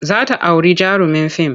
Za ta auri jarumin fim.